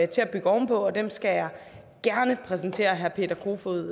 til at bygge oven på og dem skal jeg gerne præsentere herre peter kofod